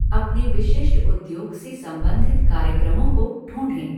अपने विशिष्ट उद्योग से संबंधित कार्यक्रमों को ढूंढें।